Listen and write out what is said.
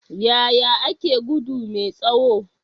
Yaya ake gudu mai tsawo?